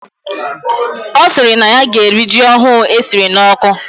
Osiri na ya gee eri ji ohu esiri na oku